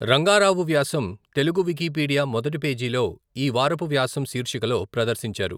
రంగారావు వ్యాసం తెలుగు వికీపీడియా మొదటి పేజీలో ఈవారపు వ్యాసం శీర్షికలో ప్రదర్శించారు.